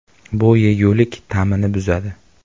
Bu yegulik ta’mini buzadi.